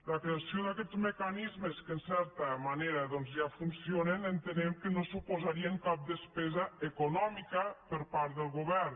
la creació d’aquests mecanismes que en certa manera doncs ja funcionen entenem que no suposarien cap despesa econòmica per part del govern